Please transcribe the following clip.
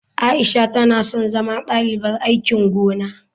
Aisha tana son zama dalibar aikin gona.